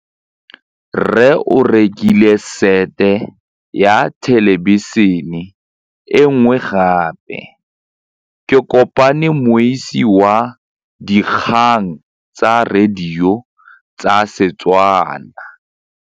Rre o rekile sete ya thêlêbišênê e nngwe gape. Ke kopane mmuisi w dikgang tsa radio tsa Setswana.